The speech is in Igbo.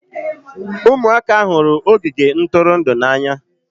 Ụmụaka hụrụ ogige ntụrụndụ n'anya